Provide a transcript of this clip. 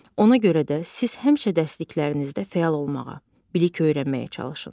Ona görə də siz həmişə dərsliklərinizdə fəal olmağa, bilik öyrənməyə çalışın.